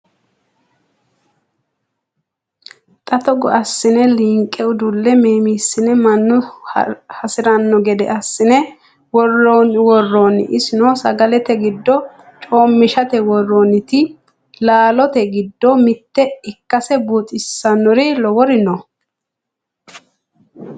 Xa togo assine liinqe udule meemisine mannu hasirano gede assine worani iseno sagalete giddo coomishate worannite laalote giddo mite ikkase buuxisanori lowori no.